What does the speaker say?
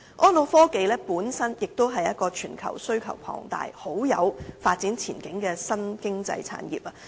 安老科技亦是全球需求龐大，很有發展前景的新經濟產業。